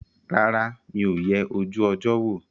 Rárá, mi ò yẹ ojú ọjọ́ wò